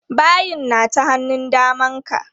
Bayin na ta hannun daman ka.